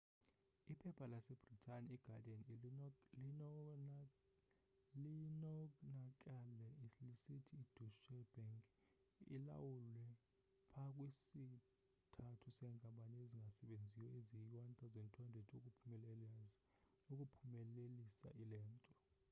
iphepha lasebritane iguardian linonakale lisithi ideutsche bank ilawule pha kwi sthathu seenkampani ezingasebenziyo eziyi 1200 ukuphumelelisa lento